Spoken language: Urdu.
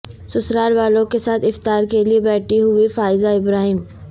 سسرال والوں کے ساتھ افطار کے لیے بیٹھی ہوئی فائزہ ابراہیم